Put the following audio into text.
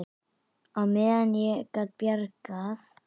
Það var með naumindum að ég gat bjargað